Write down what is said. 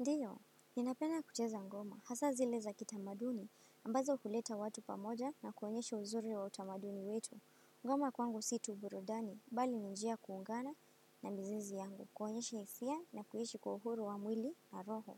Ndiyo, ninapedna kucheza ngoma, hasa zile za kitamaduni, ambazo huleta watu pamoja na kuonyesha uzuri wa utamaduni wetu. Ngoma kwangu si tu burudani, bali ni njia ya kuungana na mizizi yangu, kuonyesha hisia na kuishi kwa uhuru wa mwili na roho.